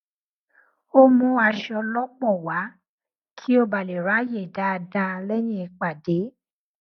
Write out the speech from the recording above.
ó mú aṣọ lọpọ wá kí ó bà lè ráàyè dáadáa lẹyìn ìpàdé